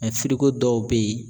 dɔw bɛ ye